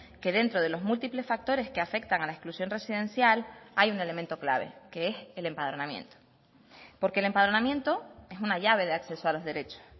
que dentro de los múltiples factores que afectan a la exclusión residencial hay un elemento clave que es el empadronamiento porque el empadronamiento es una llave de acceso a los derechos